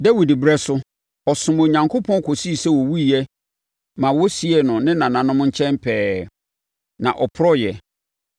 “Dawid ɛberɛ so, ɔsomm Onyankopɔn kɔsii sɛ ɔwuiɛ ma wɔsiee no ne nananom nkyɛn pɛɛ, na ɔporɔeɛ.